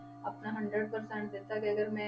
ਆਪਣਾ hundred percent ਦਿੱਤਾ ਕਿ ਅਗਰ ਮੈਂ,